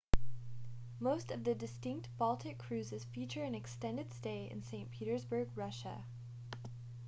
most of the distinct baltic cruises feature an extended stay in st petersburg russia